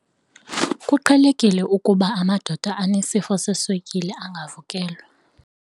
Kuqhelekile ukuba amadoda anesifo seswekile angavukelwa.